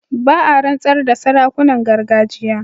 Ba a rantsar da sarakunan gargajiya.